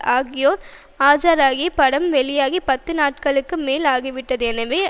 ஆகியோர் ஆஜராகி படம் வெளியாகி பத்து நாட்களுக்கு மேல் ஆகிவிட்டது எனவே